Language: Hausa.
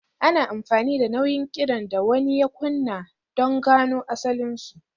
Ana amfani da nau'in kiɗan da wani ya kunna don gano asalinsu.